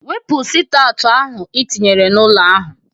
Wepu sit aụt ahụ i tinyere na-ụlọ ahụ!